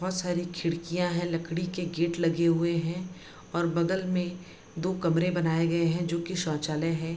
बहूत सारी खिड़कियां हैं लकड़ी के गेट लगे हुए हैं और बगल में दो कमरे बनाये गए हैं जो की शौचालय है |